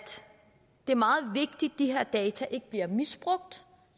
det er meget vigtigt at de her data ikke bliver misbrugt